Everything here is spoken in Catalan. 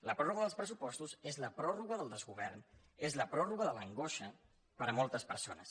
la pròrroga dels pressupostos és la pròrroga del desgovern és la pròrroga de l’angoixa per a moltes persones